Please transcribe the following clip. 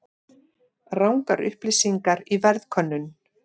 Rangar upplýsingar í verðkönnun